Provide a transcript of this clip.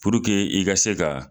Puruke i ka se ka